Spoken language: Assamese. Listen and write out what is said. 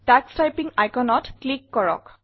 তোষ টাইপিং iconত ক্লিক কৰক